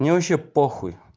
мне вообще похуй